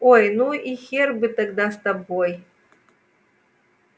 ой ну и хер бы тогда с тобой